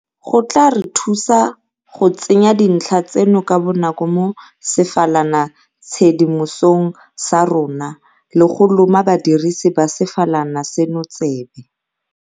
go tla re thusa go tsenya dintlha tseno ka bonako mo sefalanatshedimosong sa rona le go loma badirisi ba sefalana seno tsebe.